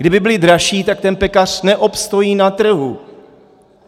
Kdyby byly dražší, tak ten pekař neobstojí na trhu!